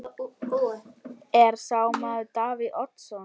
Er sá maður Davíð Oddsson?